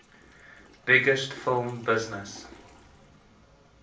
biggest film business